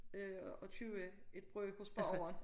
Øh og købe et brød hos bageren